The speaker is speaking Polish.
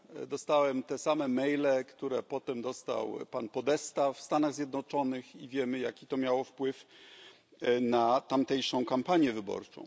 Dostałem te same maile, które potem dostał pan Podesta w Stanach Zjednoczonych, i wiemy, jaki to miało wpływ na tamtejszą kampanię wyborczą.